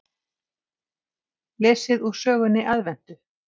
Lesið úr sögunni Aðventu.